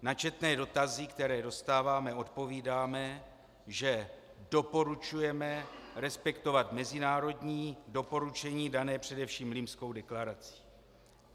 Na četné dotazy, které dostáváme, odpovídáme, že doporučujeme respektovat mezinárodní doporučení dané především Limskou deklarací.